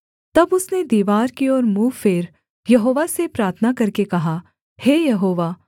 तब उसने दीवार की ओर मुँह फेर यहोवा से प्रार्थना करके कहा हे यहोवा